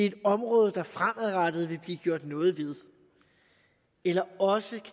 et område der fremadrettet vil blive gjort noget ved eller også